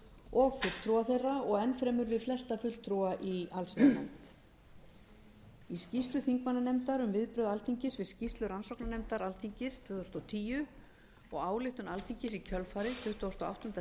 og fulltrúa þeirra og enn fremur við flesta fulltrúa í allsherjarnefnd í skýrslu þingmannanefndar um viðbrögð alþingis við skýrslu rannsóknarnefndar alþingis tvö þúsund og tíu og ályktun alþingis í kjölfarið tuttugasta og áttunda september síðastliðinn er